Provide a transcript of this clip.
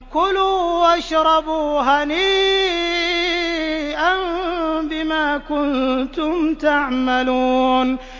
كُلُوا وَاشْرَبُوا هَنِيئًا بِمَا كُنتُمْ تَعْمَلُونَ